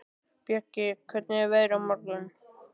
Bjöggi, hvernig er veðrið á morgun?